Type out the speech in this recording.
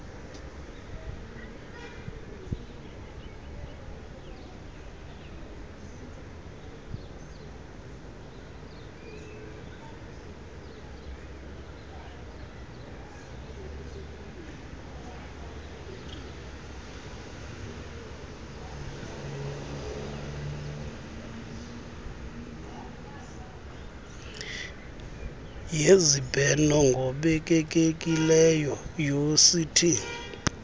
yezibheno ngobekekileyo uct